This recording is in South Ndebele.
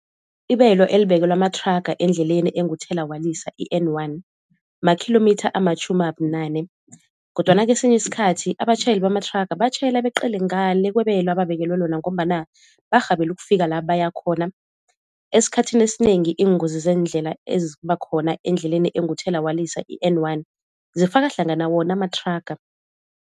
Ibelo elibekelwe amathraga endleleni enguthela walisa i-N one makhilomitha amatjhumi abunane kodwana kesinye isikhathi abatjhayeli bamathraga batjhayela beqele ngale kwebelo ababekelwe lona ngombana barhabele ukufika la bayakhona. Esikhathini esinengi iingozi zeendlela eziba khona endleleni enguthela walisa i-N one zifaka hlangana wona amathraga.